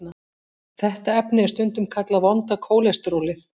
Þetta efni er stundum kallað vonda kólesterólið.